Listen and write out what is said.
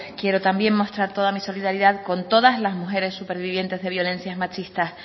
quiero también mostrar toda mi solidaridad con todas las mujeres supervivientes de violencias machistas